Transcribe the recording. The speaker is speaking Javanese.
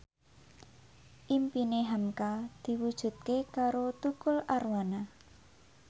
impine hamka diwujudke karo Tukul Arwana